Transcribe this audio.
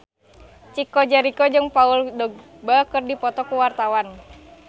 Chico Jericho jeung Paul Dogba keur dipoto ku wartawan